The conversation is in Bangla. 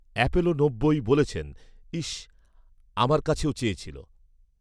অ্যাপোলো নব্বই বলেছেন, ইশ, আমার কাছেও চেয়েছিল